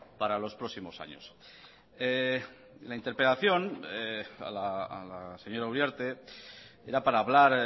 para los próximos años la interpelación a la señora uriarte era para hablar